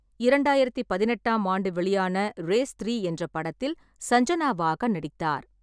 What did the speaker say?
இரண்டாயிரத்து பதினெட்டாம் ஆண்டு வெளியான ரேஸ் த்ரீ என்ற படத்தில் சஞ்சனாவாக நடித்தார்.